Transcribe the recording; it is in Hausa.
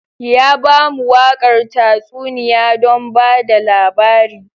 Ya ba mu waƙar tatsuniya don ba da labari.